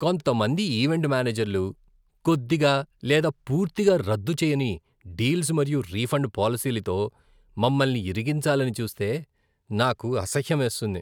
కొంతమంది ఈవెంట్ మేనేజర్లు కొద్దిగా లేదా పూర్తిగా రద్దు చేయని డీల్స్ మరియు రిఫండ్ పాలసీలతో మమ్మల్ని ఇరికించాలని చూస్తే నాకు అసహ్యమేస్తుంది.